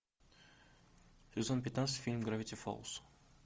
сезон пятнадцать фильм гравити фолз